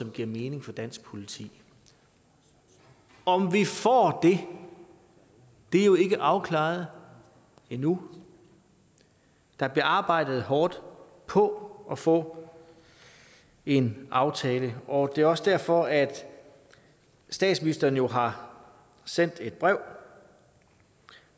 giver mening for dansk politi om vi får det er jo ikke afklaret endnu der bliver arbejdet hårdt på at få en aftale og det er også derfor at statsministeren jo har sendt et brev